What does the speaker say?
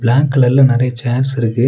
Black கலர்ல நெறைய chairs இருக்கு.